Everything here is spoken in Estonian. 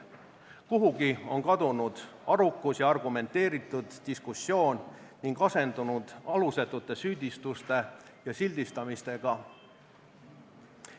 Kuhugi on kadunud arukus ja argumenteeritud diskussioon ning asendunud alusetute süüdistuste ja sildistamistega.